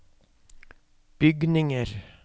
bygninger